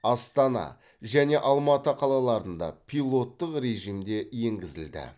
астана және алматы қалаларында пилоттық режимде енгізілді